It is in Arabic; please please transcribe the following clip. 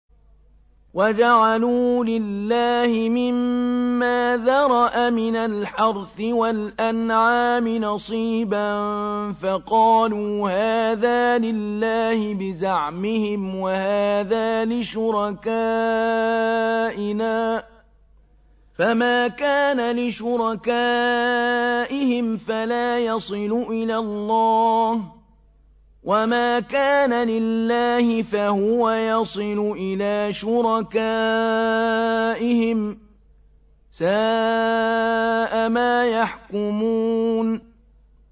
وَجَعَلُوا لِلَّهِ مِمَّا ذَرَأَ مِنَ الْحَرْثِ وَالْأَنْعَامِ نَصِيبًا فَقَالُوا هَٰذَا لِلَّهِ بِزَعْمِهِمْ وَهَٰذَا لِشُرَكَائِنَا ۖ فَمَا كَانَ لِشُرَكَائِهِمْ فَلَا يَصِلُ إِلَى اللَّهِ ۖ وَمَا كَانَ لِلَّهِ فَهُوَ يَصِلُ إِلَىٰ شُرَكَائِهِمْ ۗ سَاءَ مَا يَحْكُمُونَ